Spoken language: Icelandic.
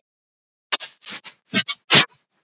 Hvernig er kjörsóknin núna?